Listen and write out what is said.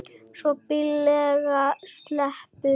Svo billega sleppur enginn.